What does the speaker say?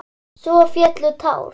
Svo féllu tár.